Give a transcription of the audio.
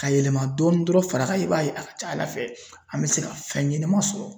Ka yɛlɛma dɔɔni dɔrɔn ,farankan i b'a ye a ka ca Ala fɛ an be se ka fɛn ɲɛnama sɔrɔ.